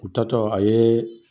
U taatɔ a ye